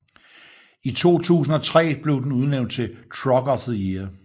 I 2003 blev den udnævnt til Truck of the Year